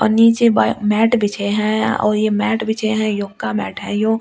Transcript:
नीचे बाई मैट बिछे है ओ ये मैट बिछे है यो का मैट है यो ओ।